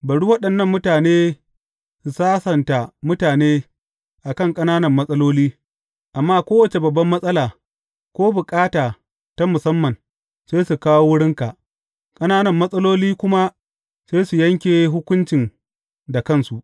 Bari waɗannan mutane su sassanta mutane a kan ƙananan matsaloli, amma kowace babban matsala, ko bukata ta musamman, sai su kawo wurinka, ƙananan matsaloli kuma sai su yanke hukuncin da kansu.